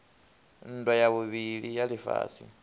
nndwa ya vhuvhili ya lifhasi